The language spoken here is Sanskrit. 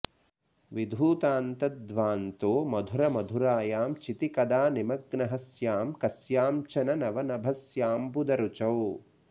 विधूतान्तध्वान्तो मधुर मधुरायां चिति कदा निमग्नः स्यां कस्यां चन नवनभस्याम्बुदरुचौ